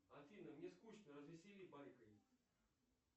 афина мне скучно развесели байкой